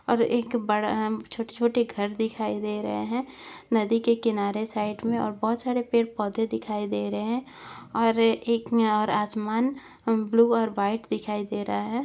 और एक बढ़ - अ छोटे - छोटे घर दिखाई दे रहे है नदी के किनारे साइड में और बहुत सारे पेड़ - पौधे दिखाई दे रहे है और एक में आसमान ब्लू और वाइट दिखाई दे रहा है।